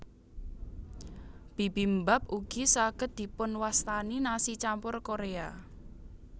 Bibimbap ugi saged dipunwastani nasi campur Korea